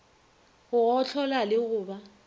go gohlola le go ba